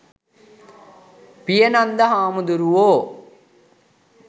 පියනන්ද හාමුදුරුවෝ